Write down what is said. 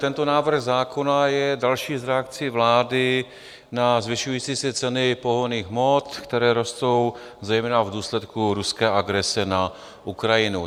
Tento návrh zákona je další z reakcí vlády na zvyšující se ceny pohonných hmot, které rostou zejména v důsledku ruské agrese na Ukrajinu.